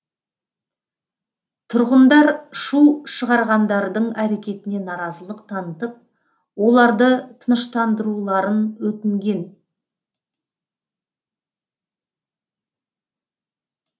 тұрғындар шу шығарғандардың әрекетіне наразылық танытып оларды тыныштандыруларын өтінген